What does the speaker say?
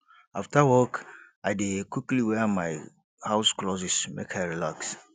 afta work i dey quickly wear my house clothes make i relax